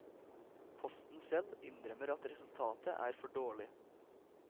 Posten selv innrømmer at resultatet er for dårlig.